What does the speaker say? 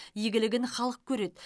игілігін халық көреді